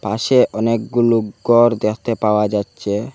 পাশে অনেকগুলু গর দেখতে পাওয়া যাচ্ছে।